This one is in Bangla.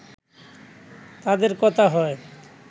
তাদের কথা হয়